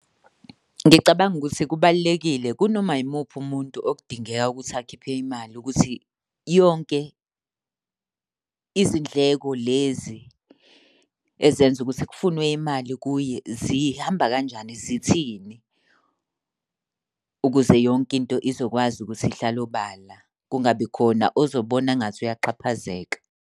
Ngicabanga ukuthi kubalulekile kunoma yimuphi umuntu okudingeka ukuthi akhiphe imali ukuthi yonke izindleko lezi ezenza ukuthi kufunwe imali kuye zihamba kanjani, zithini, ukuze yonke into izokwazi ukuthi ihlale obala. Kungabi khona ozobona ngathi uyaxhaphazeka.